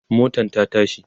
motan ta tashi